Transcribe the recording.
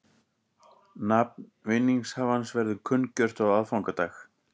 Nafn vinningshafans verður kunngjört á aðfangadag